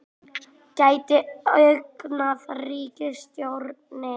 Gæti ógnað ríkisstjórninni